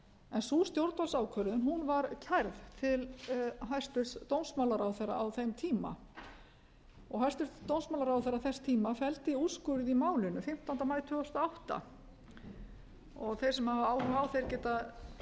en sú stjórnvaldsákvörðun var kærð til hæstvirts dómsmálaráðherra á beint tíma hæstvirtur dómsmálaráðherra þess tíma felldi úrskurð í málinu fimmtánda maí tvö þúsund og átta þeir sem hafa áhuga á þeir geta